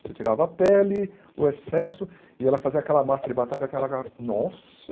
Você tirava a pele, o excesso, e ela fazia aquela massa de batata, aquela aquela... Nossa!